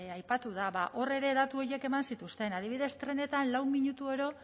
aipatu da ba hor ere datu horiek eman zituzten adibidez trenetan lau minuturo